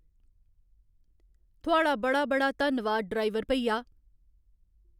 थुआढ़ा बड़ा बड़ा धन्नवाद ड्राईवर भईया।